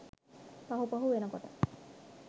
පහු පහු වෙනකොට